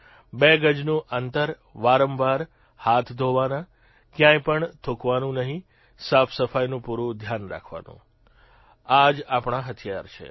બે ગજનું અંતર વારંવાર હાથ ધોવાના કયાંય પણ થુંકવાનું નહિં સાફસફાઇનું પૂરૂં ધ્યાન રાખવાનું આજ આપણા હથિયાર છે